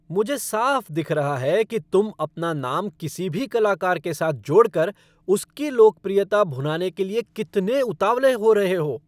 मुझे साफ दिख रहा है कि तुम अपना नाम किसी भी कलाकार के साथ जोड़कर उसकी लोकप्रियता भुनाने के लिए कितने उतावले हो रहे हो।